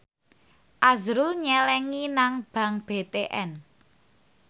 azrul nyelengi nang bank BTN